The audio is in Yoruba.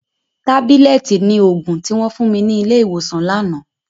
Tábílẹ̀tì ni òògùn tí wọ́n fún mi ní ilé ìwòsàn lánàá.